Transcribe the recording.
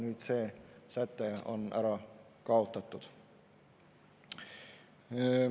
Nüüd see säte on ära kaotatud.